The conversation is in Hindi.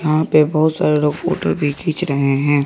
यहां पे बहुत सारे लोग फोटो भी खींच रहे हैं।